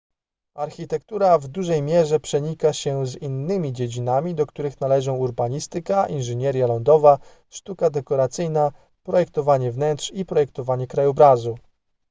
architektura w dużej mierze przenika się z innymi dziedzinami do których należą urbanistyka inżynieria lądowa sztuka dekoracyjna projektowanie wnętrz i projektowanie krajobrazu